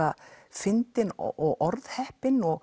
fyndinn og orðheppinn og